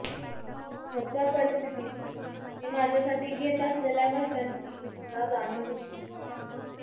घरच्या परिस्थितीची ते माझ्यासाठी घेत असलेल्या कष्टांची मला जाणीव होती